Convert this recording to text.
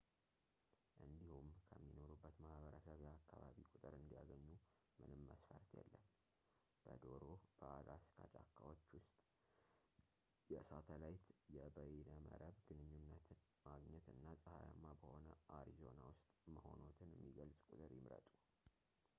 እንዲሁም ከሚኖሩበት ማህበረሰብ የአካባቢ ቁጥር እንዲያገኙ ምንም መስፈርት የለም ፤ በዶሮ ፣ በአላስካ ጫካዎች ውስጥ የሳተላይት የበይነመረብ ግንኙነትን ማግኘት እና ፀሐያማ በሆነ አሪዞና ውስጥ መሆንዎትን የሚገልጽ ቁጥር ይምረጡ